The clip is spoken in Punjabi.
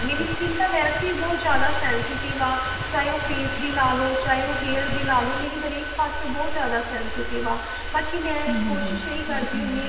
ਮੇਰੀ skin ਤਾਂ ਬਹੁਤ ਜਿਆਦਾ sensitive ਹੈ ਚਾਹੇ ਉਹ face ਦੀ ਲਾ ਲੋ ਚਾਹੇ ਉਹ hair ਦੀ ਲਾ ਲੋ ਮੇਰੀ ਹਰੇਕ ਪਾਸੋ ਬਹੁਤ ਜਿਆਦਾ sensitive ਆ ਬਾਕੀ ਮੈਂ ਕੋਸ਼ਿਸ਼ ਇਹੀ ਕਰਦੀ ਹੁੰਨੀ ਆਂ